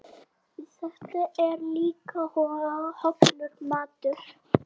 Þetta er líka hollur matur.